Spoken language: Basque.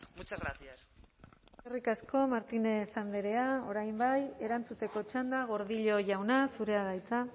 muchas gracias eskerrik asko martínez andrea orain bai erantzuteko txanda gordillo jauna zurea da hitza